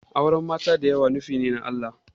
Auren mata da yawa nufine na Allah